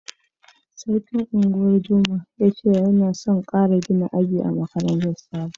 Sarkin Ungwan doma ya ce yana son gina karin aji ma makarantan Sabo.